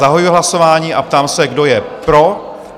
Zahajuji hlasování a ptám se, kdo je pro?